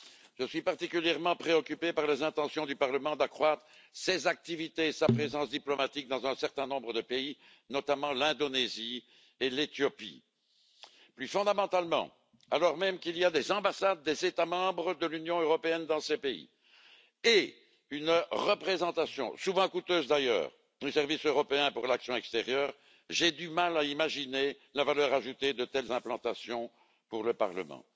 Je suis préoccupé par les intentions du Parlement d'accroître ses activités et sa présence diplomatique dans un certain nombre de pays, notamment l'Indonésie et l'Éthiopie. Plus fondamentalement, alors même qu'il y a des ambassades des États membres de l'Union européenne dans ces pays et une représentation, souvent coûteuse d'ailleurs, du Service européen pour l'action extérieure, j'ai du mal à imaginer la valeur ajoutée de telles implantations pour le Parlement.